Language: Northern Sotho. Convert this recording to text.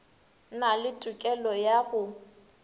na le tokelo ya go